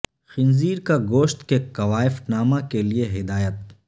خنزیر کا گوشت کے کوائف نامہ کے لئے ہدایت